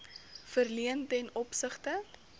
verleen ten opsigte